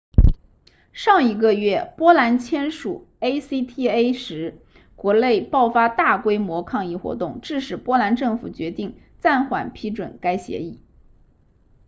上一个月波兰签署 acta 时国内爆发大规模抗议活动致使波兰政府决定暂缓批准该协议